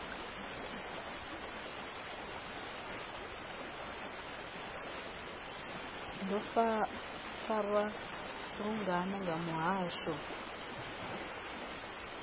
do farwa lungana nga muhasho